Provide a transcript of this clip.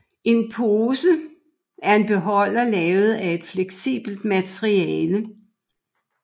En pose er en beholder lavet af et fleksibelt materiale